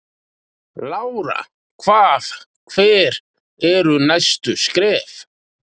Lára: Hvað, hver eru næstu skref?